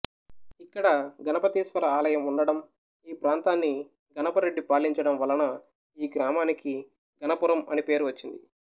ఇక్కడ గణపతీశ్వరాలయం ఉండటం ఈ ప్రాంతాన్ని గణపరెడ్డి పాలించడం వలన ఈ గ్రామానికి గణపురం అని పేరు వచ్చింది